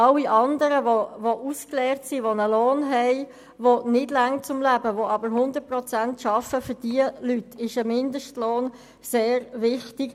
Aber für alle andern, die ausgelernt sind und nicht über einen zum Leben ausreichenden Lohn verfügen, obwohl sie zu 100 Prozent arbeiten, ist ein Mindestlohn sehr wichtig.